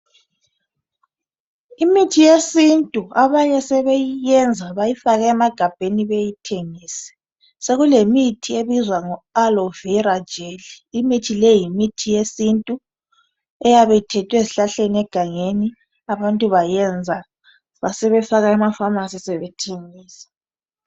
Imithi yesintu itholakala egangeni bayegebha izihlahla babuye babilise banathe imithi leyo ikakhulu enjenge Alovela .